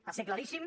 va ser claríssim